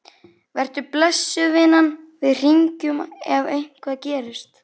Vertu blessuð, vinan, við hringjum ef eitthvað gerist.